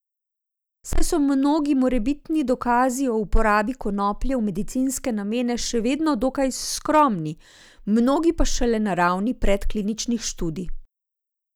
Saj so mnogi morebitni dokazi o uporabi konoplje v medicinske namene še vedno dokaj skromni, mnogi pa šele na ravni predkliničnih študij.